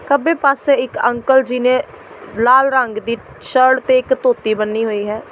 ਖੱਬੇ ਪਾਸੇ ਇੱਕ ਅੰਕਲ ਜੀ ਨੇ ਲਾਲ ਰੰਗ ਦੀ ਸ਼ਰਟ ਤੇ ਇੱਕ ਧੋਤੀ ਬੰਨ੍ਹੀ ਹੋਈ ਹੈ।